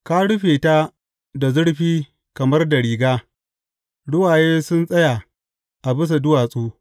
Ka rufe ta da zurfi kamar da riga ruwaye sun tsaya a bisa duwatsu.